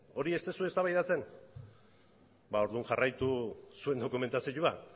hori ez duzue eztabaidatzen ba orduan jarraitu zuen dokumentazioa